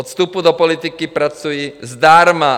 Od vstupu do politiky pracuji zdarma!